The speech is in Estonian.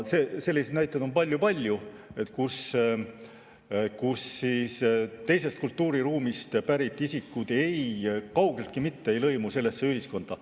Selliseid näiteid on palju-palju, kus teisest kultuuriruumist pärit isikud kaugeltki mitte ei lõimu sellesse ühiskonda.